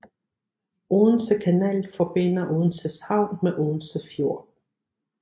Odense Kanal forbinder Odenses havn med Odense Fjord